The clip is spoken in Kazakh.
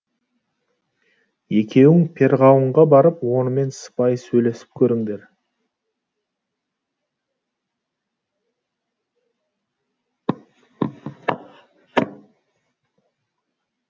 екеуің перғауынға барып онымен сыпайы сөйлесіп көріңдер